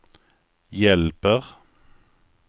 hjälper